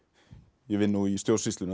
í vinnu og í stjórnsýslunni það